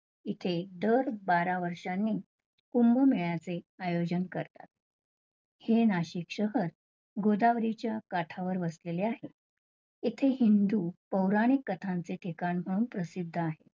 इथे दर बारा वर्षांनी कुंभ मेळ्याचे आयोजन करतात, हे नाशिक शहर गोदावरीच्या काठावर वसलेले आहे. इथे हिंदू पौराणिक कथांचे ठिकाण म्हणून प्रसिद्ध आहे.